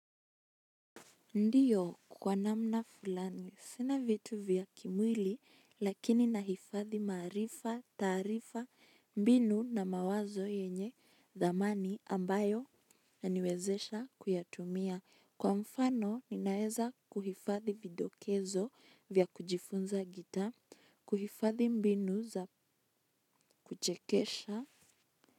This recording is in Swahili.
Ndiyo kwa namna fulani. Sina vitu vya kimwili lakini nahifadhi maarifa, taarifa, mbinu na mawazo yenye dhamani ambayo inaniwezesha kuyatumia. Kwa mfano ninaeza kuhifadhi vidokezo vya kujifunza gitaa, kuhifadhi mbinu za kuchekesha.